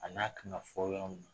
A n'a kan ka fɔ yɔrɔ mun na.